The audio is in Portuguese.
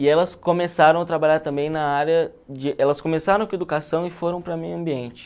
E elas começaram a trabalhar também na área de... Elas começaram com educação e foram para meio ambiente.